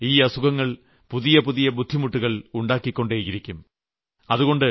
അതുവരെ ഈ അസുഖങ്ങൾ പുതിയ പുതിയ ബുദ്ധിമുട്ടുകൾ ഉണ്ടാക്കിക്കൊണ്ടേയിരിക്കും